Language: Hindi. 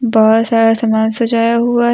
बहुत सारा समान सजाया हुआ है।